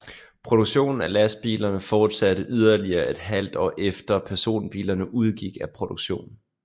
Produktionen af lastbilerne fortsatte yderligere et halvt år efter personbilerne udgik af produktion